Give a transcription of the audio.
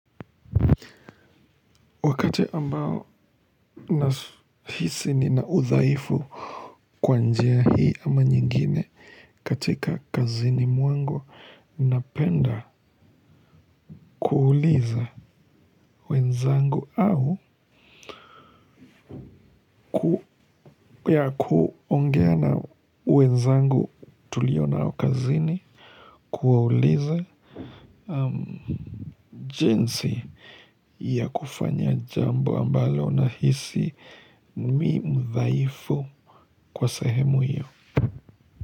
Wakati ambao ninahisi ninaudhaifu kwa njia hii ama nyingine katika kazini mwangu, napenda kuuliza. Wenzangu au ya kuongea na wenzangu. Tulionao kazini, kuwauliza jinsi ya kufanya jambo ambalo nahisi, Mimi mdhaifu kwa sahemu hiyo.